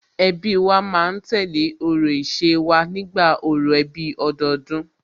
Ẹbí wa ma ń tẹ̀lé orò ìṣe wa nígbà orò ẹbí ọdọọdún